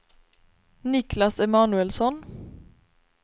Niklas Emanuelsson